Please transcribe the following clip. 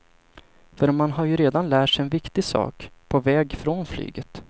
För man har ju redan lärt sig en viktig sak, på väg från flyget.